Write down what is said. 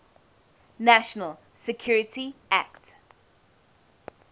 national security act